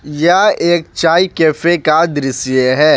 यह एक चाय कैफे का दृश्य है।